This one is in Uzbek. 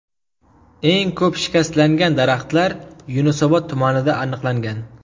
Eng ko‘p shikastlangan daraxtlar Yunusobod tumanida aniqlangan.